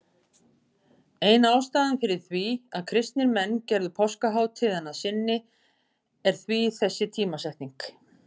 Ein ástæðan fyrir því að kristnir menn gerðu páskahátíðina að sinni er því þessi tímasetning.